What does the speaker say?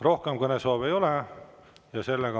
Rohkem kõnesoove ei ole.